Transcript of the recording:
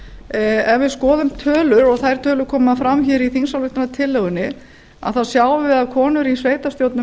ef við skoðum tölur og þær tölur koma fram hér í þingsályktunartillögunni að þá sjáum við að konur í sveitarstjórnum